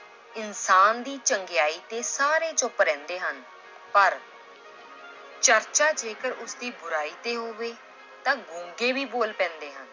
ਇਨਸਾਨ ਦੀ ਚੰਗਿਆਈ ਤੇ ਸਾਰੇ ਚੁੱਪ ਰਹਿੰਦੇ ਹਨ ਪਰ ਚਰਚਾ ਜੇਕਰ ਉਸਦੀ ਬੁਰਾਈ ਤੇ ਹੋਵੇ ਤਾਂ ਗੁੰਗੇ ਵੀ ਬੋਲ ਪੈਂਦੇ ਹਨ।